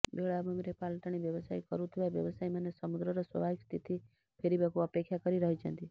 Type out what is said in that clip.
ବେଳାଭୂମିରେ ପାଲଟାଣି ବ୍ୟବସାୟ କରୁଥିବା ବ୍ୟବସାୟୀମାନେ ସମୁଦ୍ରର ସ୍ୱାଭାବିକ ସ୍ଥିତି ଫେରିବାକୁ ଅପେକ୍ଷା କରି ରହିଛନ୍ତି